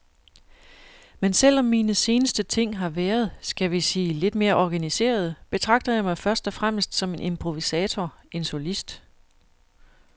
Men selv om mine seneste ting har været, skal vi sige lidt mere organiserede, betragter jeg mig først og fremmest som en improvisator, en solist.